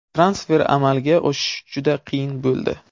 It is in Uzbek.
Transfer amalga oshishi juda qiyin bo‘ldi.